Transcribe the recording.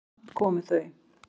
Samt komu þau.